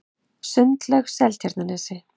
Sundlaug Seltjarnarnesi